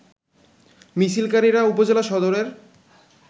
মিছিলকারিরা উপজেলা সদরের